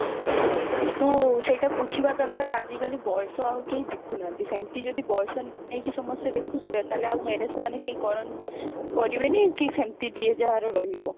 ତୁ ସେଇଟା ବୁଝିବା ଦରକାର ଆଜିକାଲି ବୟସ ଆଉ କେହି ଦେଖୁନାହାନ୍ତି ସେମତି ଯଦି ବୟସ ନେଇକି ସମସ୍ତେ ଦେଖୁଥିବେ ତାହେଲେ ଆଉ marriage ସେମାନେ କରିବେନି କି ସେମତି ଯିଏ ଯାହାର ରହିବ